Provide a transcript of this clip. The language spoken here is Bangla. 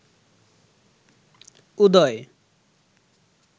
উদয়